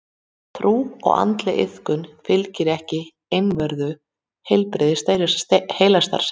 Trú og andleg iðkun fylgir ekki einvörðungu heilbrigðri heilastarfsemi.